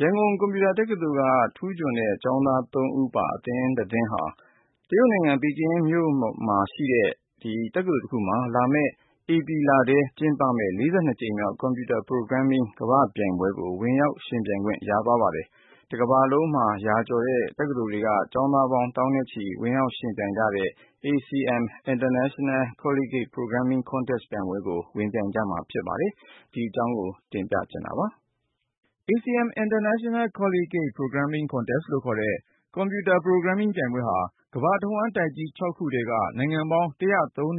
ရန်ကုန် ကွန်ပျူတာတက္ကသိုလ်က ထူးချွန်တဲ့ ကျောင်းသား ဦးပါ အသင်းတသင်းဟာ တရုတ်နိုင်ငံ ပီကင်းမြို့မှာ လာမယ့် ဧပြီလထဲ ကျင်းပမယ့် ၄၂ ကြိမ်မြောက် Computer Programming ကမ္ဘာ့ပြိုင်ပွဲကို ဝင်ရောက်ယှဉ်ပြိုင်ခွင့် ရသွားပါတယ်။ တကမ္ဘာလုံးမှာ ရာနဲ့ချီတဲ့ တက္ကသိုလ်တွေက ကျောင်းသားပေါင်း သောင်းနဲ့ချီ ဝင်ရောက်ယှဉ်ပြိုင်ကြတဲ့ ACM International Collegiate Programming Contest ပြိုင်ပွဲကို ဝင်ပြိုင်ကြမှာ ဖြစ်ပါတယ်။ အကြောင်းစုံကိုတော့ ဆက်သွယ်မေးမြန်းထားတဲ့ ကိုဉာဏ်ဝင်းအောင်က တင်ပြပါမယ်။ ACM International Collegiate Programming Contest လို့ခေါ်တဲ့ Computer Programming ပြိုင်ပွဲဟာ ကမ္ဘာတစ်ဝှမ်း တိုက်ကြီး ခု ထဲက နိုင်ငံပေါင်း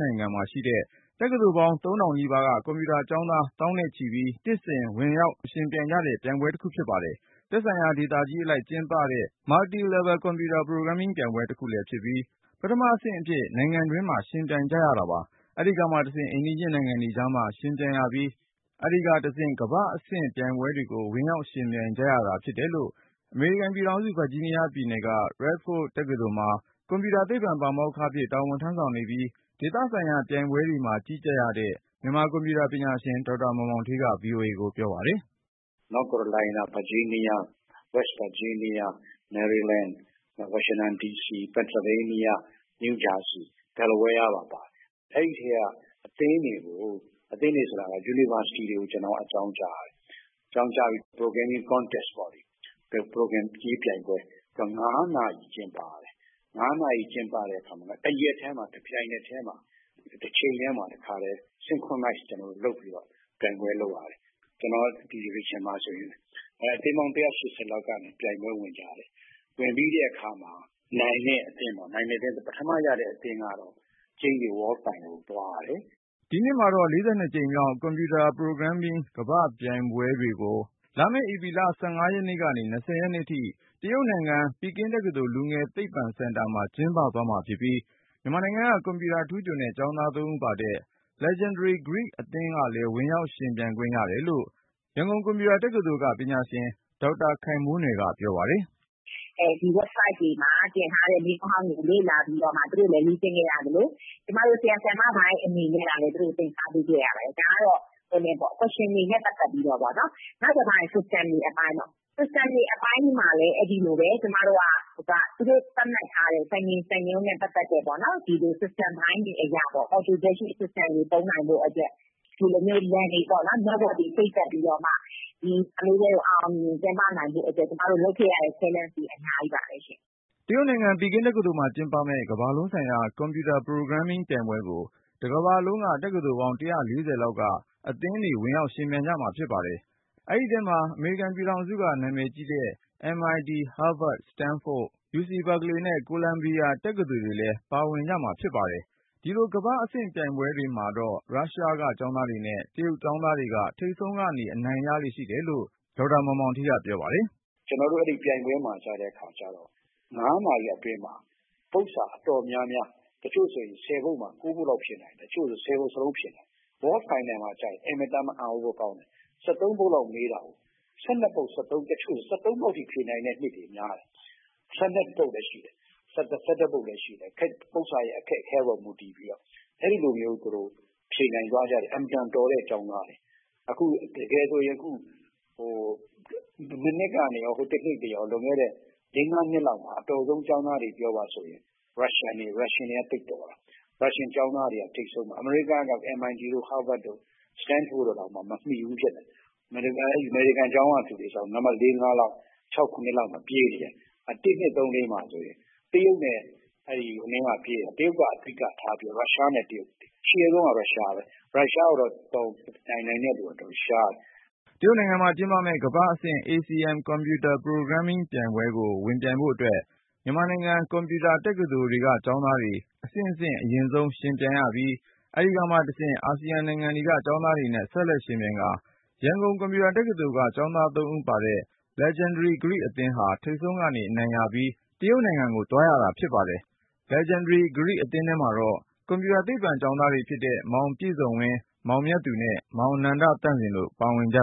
နိုင်ငံမှာရှိတဲ့ တက္ကသိုလ်ပေါင်း ထောင်နီးပါက ကွန်ပျူတာကျောင်းသား သောင်းနဲ့ချီပြီး နှစ်စဉ် ဝင်ရောက်ယှဉ်ပြိုင် ကြတဲ့ ပြိုင်ပွဲတခုဖြစ်ပါတယ်။ သက်ဆိုင်ရာ ဒေသကြီးအလိုက် ကျင်းပပြုလုပ်တဲ့ Multi-level Computer Programming ပြိုင်ပွဲတစ်ခုလည်း ဖြစ်ပြီး ပထမအဆင့် နိုင်ငံတွင်းမှာ ယှဉ်ပြိုင်ရပါတယ်။ အဲဒီကမှတဆင့်အိမ်နီးနားချင်းနိုင်ငံတွေကြားမှာ ယှဉ်ပြိုင်ရပြီး၊ အဲဒီကမှတဆင့် ကမ္ဘာ့အဆင့် ပြိုင်ပွဲကို ဝင်ရောက်ယှဉ်ပြိုင် ကြရတာဖြစ်တယ်လို့ အမေရိကန်ပြည်ထောင်စု ဗာဂျီးနီးယားပြည်နယ်က Radford University မှာ ကွန်ပျူတာသိပ္ပံ ပါမောက္ခအဖြစ် တာဝန်ထမ်းဆောင်နေပြီး ဒေသဆိုင်ရာ ပြိုင်ပွဲတွေမှာ ကြီးကြပ်ရတဲ့ မြန်မာ ကွန်ပျူတာပညာရှင် ဒေါက်တာ မောင်မောင်ဌေးက VOA ကိုပြောပါတယ်။ " North Carolina၊ Virginia၊ West Virginia၊ Maryland၊ Washington D.C ၊ Pennsylvania၊ New Jersey ၊ Delaware ပါတယ်။ အဲဒီအထဲက အသင်းတွေ ၊ အသင်းဆိုတာက University တွေကို အကြောင်းကြားရတယ်။ အကြောင်းကြားပြီး Programming Contest ပေါ့လေ Programရေးပြိုင်ပွဲ ၅ နာရီ ကျင်းပရတယ်။ ၅ နာရီကျင်းပပြီး တရက်တည်းမှာ တပြိုင်တည်း တချိန်တည်းမှာ တခါတည်း synchronize လုပ်ပြီးတော့ ပြိုင်ပွဲ လုပ် ရတယ်။ ကျနော်ဒီ Division မှာဆိုရင် အသင်းပေါင်း ၁၈၀ လောက်ကနေ ပြိုင်ပွဲဝင်ကြရတယ်။ ဝင်ပြီးတဲ့အခါမှာ နိုင်တဲ့အသင်း ပထမရတဲ့အသင်းက World final ကျိန်းသေ သွားရတယ်။" ဒီနှစ်မှာတော့ ၄၂ ကြိမ်မြောက် Computer Programming ကမ္ဘာ့ပြိုင်ပွဲ (42th World Finals of the ACM International Collegiate Programming Contest)ကို လာမယ့်ဧပြီလ (၁၅ ရက်နေ ၂၀ ရက်နေ့ထိ) တရုတ်နိုင်ငံ ပီကင်းမြို့ ပီကင်းတက္ကသိုလ် လူငယ်သိပ္ပံစင်တာမှာ ကျင်းပသွားမှာဖြစ်ပြီး မြန်မာနိုင်ငံက ကွန်ပျူတာထူးချွန်တဲ့ ကျောင်းသား ဦးပါ Legendary Geek အသင်းလဲ ဝင်ရောက်ယှဉ်ပြိုင်ခွင့် ရတယ်လို့ ရန်ကုန်ကွန်ပျူတာတက္ကသိုလ်က ပညာရှင် ဒေါက်တာ ခိုင်မိုးနွယ်က ပြောပါတယ်။ "ဒီ Website တွေမှာ တင်ထားတဲ့မေးခွန်းဟောင်းတွေကို သူတို့လည်း လေ့ကျင့်ခဲ့ရသလို ကျမတို့ ဆရာ၊ ဆရာမပိုင်းတွေအနေနဲ့ကလည်း သင်ကြားပေးခဲ့ရတယ်။ ဒါကတော့ Question တွေနဲ့ ပတ်သက်ပြီးတော့ပေါ့နော်။ နောက်တခါ System တွေအပိုင်းပေါ့နော် System တွေအပိုင်းမှာလည်း အဲဒီလိုပဲ သူတို့သတ်မှတ်ထားတဲ့ စံချိန်စံညွှန်းနဲ့ ပတ်သက်ပြီးတော့ ဒီ System ပိုင်းတွေအရပေါ့နော် ဒီ System တွေသုံးနိုင်ဖို့အတွက် Network တွေချိတ်ဆက်ပြီးတော့ ဒီပြိုင်ပွဲကို အောင်အောင်မြင်မြင်ကျင်းပနိုင်ဖို့အတွက် ကျမတို့လုပ်ခဲ့ရတဲ့ အဆင့်တွေအများကြီးပါပဲရှင့်။" တရုတ်နိုင်ငံ ပီကင်းတက္ကသိုလ်မှာကျင်းပမယ့် ကမ္ဘာလုံးဆိုင်ရာ Computer Programming ပြိုင်ပွဲကို တစ်ကမ္ဘာလုံးက တက္ကသိုလ်ပေါင်း ၁၄၀ လောက်က အသင်းတွေ ဝင်ပြိုင်ကြမှာ ဖြစ်ပါတယ်။ အဲဒီထဲမှာ အမေရိကန်က နာမည်ကြီး တက္ကသိုလ်တွေဖြစ်တဲ့ MIT, Harvard, Stanford, Carnelgle Mellon, UC Berkeley နဲ့ Columbia တက္ကသိုလ်တွေလဲ ပါဝင်ကြမှာဖြစ်ပါတယ်။ ဒီလို ကမ္ဘာ့အဆင့်ပြိုင်ပွဲတွေမှာတော့ ရုရှားက ကျောင်းသားတွေနဲ့ တရုတ်ကျောင်းသားတွေက ထိပ်ဆုံးကနေ အနိုင်ရလေ့ရှိတယ်လို့ ဒေါက်တာ မောင်မောင်ဌေးက VOA ကိုပြောပါတယ်။ " ကျနော်တို့ အဲဒီပြိုင်ပွဲမှာ ကျတဲ့အခါကျတော့ ၅ နာရီအတွင်းမှာ ပုဒ်စာအတော်များများ တချို့ဆို ၁၀ ပုဒ်မှာ ၉ ပုဒ်လောက်ဖြေနိုင်တယ်။ တချို့ဆို ၁၀ ပုဒ်စလုံးဖြေနိုင်တယ်။ World Final မှာက အင်မတန်မှ အံသြစရာကောင်းတယ် ၁၃ ပုဒ်လောက်မေးတာကို ၁၂ ပုဒ် ၊ တချို့ဆို ၁၃ ပုဒ်စလုံးဖြေနိုင်တဲ့နှစ်တွေများတယ်။ ၁၂ ပုဒ် လည်းရှိတယ် ၁၁ ပုဒ် လည်းရှိတယ်။ ပုဒ်စာ အခက်အခဲအပေါ် မူတည်ပြီးတော့ သူတို့ဖြေနိုင်သွားကြတယ်။ အင်မတန် တော်တဲ့ကျောင်းသား။ တကယ်ဆိုရင် အခု မနှစ်ကနေ တနှစ်တွေရော လွန်ခဲ့တဲ့ ၄-၅ နှစ်လောက်မှာ အတော်ဆုံးကျောင်းသားတွေပြောပါဆိုရင် Russian တွေ သိပ်တော်တာ၊ Russian ကျောင်းသားတွေ ထိပ်ဆုံးမှာ။ အမေရိကတော့ MIT, Harvard, Stanford တွေတောင်မမှီဘူးဖြစ်တယ်။ အမေရိကန် ကျောင်းကလူတွေဆိုရင် နံပတ် ၄-၅ တို့ ၆-၇ တို့မှာ ပြေးနေတယ်။ ၁၊၂၊၃၊၄ မှာဆိုရင် တရုတ်ကအဓိကထားပြီးတော့ Russia ကပြေးနေတယ်။ အရှေ့ဆုံးကတော့ Russia ပဲ ၊ Russia ကို ယှဉ်နိုင်တဲ့လူက ရှားတယ်။" တရုတ်နိုင်ငံမှာကျင်းပမယ့် ကမ္ဘာ့အဆင့် ACM Computer Programming ပြိုင်ပွဲကိုဝင်ပြိုင်ဖို့အတွက် မြန်မာနိုင်ငံ ကွန်ပျူတက္ကသိုလ်တွေက ကျောင်းသားတွေ အဆင့်ဆင့် အရင်ဆုံးဝင်ပြိုင်ရပြီး ၊ အဲဒီကမှတဆင့် အာဆီယံနိုင်ငံတွေက ကျောင်းသားတွေနဲ့ ဆက်လက်ယှဉ်ပြိုင်ကာ ရန်ကုန် ကွန်ပျူတာတက္ကသိုလ်က ကျောင်းသား ဦးပါတဲ့ Legendary Geek အသင်းဟာ ထိပ်ဆုံးက အနိုင်ရပြီး တရုတ်နိုင်ငံကို သွားရတာ ဖြစ်ပါတယ်။ Legendary Geek အသင်းထဲမှာတော့ ကွန်ပျူတာသိပ္ပံကျောင်းသားတွေဖြစ်တဲ့ မောင်ပြည့်စုံဝင်း၊ မောင်မြတ်သူနဲ့ မောင် နန္ဒသန့်စင် တို့ပါဝင်ကြ